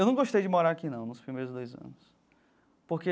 Eu não gostei de morar aqui, não, nos primeiros dois anos, porque